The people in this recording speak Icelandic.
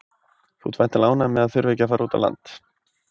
Þú ert væntanlega ánægður með að þurfa ekki að fara út á land?